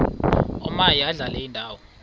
omaye adlale indawo